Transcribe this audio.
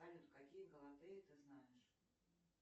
салют какие галатеи ты знаешь